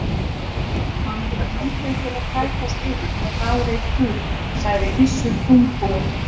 Hann hefur lítið til að kætast yfir, það veit Guð, sagði Gissur þungbúinn.